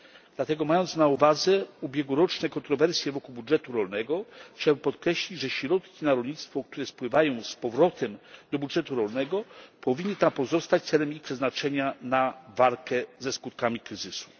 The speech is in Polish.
Dlatego mając na uwadze ubiegłoroczne kontrowersje wokół budżetu rolnego chciałbym podkreślić, że środki na rolnictwo, które spływają z powrotem do budżetu rolnego, powinny tam pozostać celem przeznaczenia ich na walkę ze skutkami kryzysu.